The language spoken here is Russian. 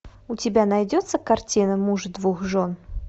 у тебя найдется картина муж двух жен